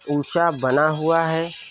ऊंचा बना हुआ है।